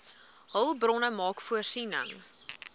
hulpbronne maak voorsiening